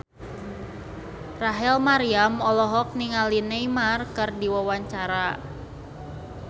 Rachel Maryam olohok ningali Neymar keur diwawancara